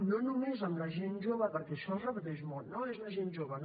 no només amb la gent jove perquè això es repeteix molt no no és la gent jove